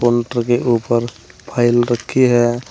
Counter के ऊपर file रखी है।